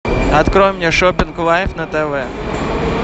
открой мне шоппинг лайф на тв